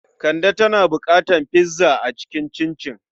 Kande tana buƙatar pizza ta yi cincin.